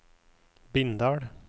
Bindal